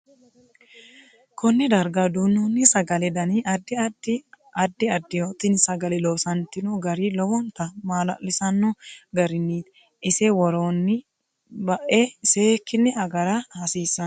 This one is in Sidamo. Konne darga duunooni sagalete dani addi addiho tini sagale loosantino gari lowonta maalalisiisano gariniiti ise worooni baae seekine agara hasiisanno